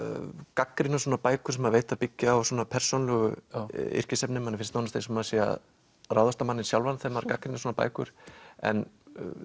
gagnrýna svona bækur sem maður veit að byggja á svona persónulegu yrkisefni manni finnst nánast eins og maður sé að ráðast á manninn sjálfan þegar maður gagnrýnir svona bækur en